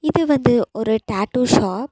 இது வந்து ஒரு டாட்டூ ஷாப் .